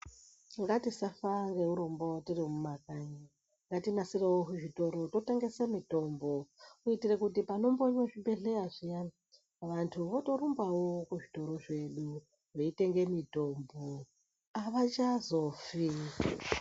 Ngatisafa ngeurombo tiri mumakanyi, ngatinasirewo zvitoro totengese mitombo. Kuitire kuti panombonywe zvibhedhleya zviyani ,vanthu votorumbawo kuzvitoro zvedu, veitenge mitombo, avachazofi.